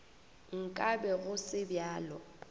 nka be go se bjalo